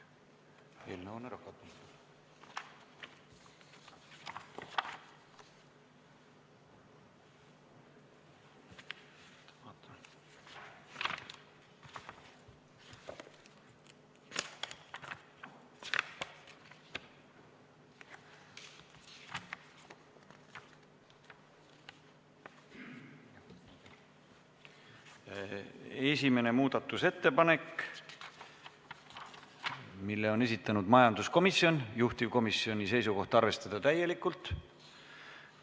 Esimene muudatusettepanek, mille on esitanud majanduskomisjon, juhtivkomisjoni seisukoht: arvestada täielikult.